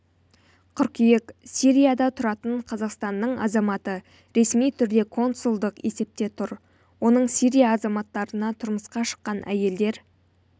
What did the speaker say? қыркүйек сирияда тұратын қазақстанның азаматы ресми түрде консулдық есепте тұр оның сирия азаматтарына тұрмысқа шыққан әйелдер